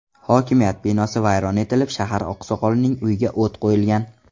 Hokimiyat binosi vayron etilib, shahar oqsoqolining uyiga o‘t qo‘yilgan.